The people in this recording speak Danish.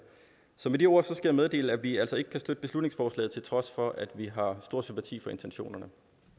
så med de ord skal jeg meddele at vi altså ikke kan støtte beslutningsforslaget til trods for at vi har stor sympati for intentionerne